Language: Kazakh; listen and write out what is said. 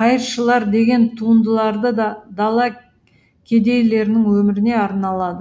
қайыршылар деген туындыларды да дала кедейлерінің өміріне арналады